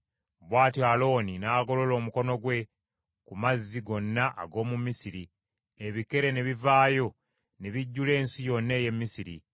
Bw’atyo Alooni n’agolola omukono gwe ku mazzi gonna ag’omu Misiri; ebikere ne bivaayo ne bijjula ensi yonna ey’e Misiri.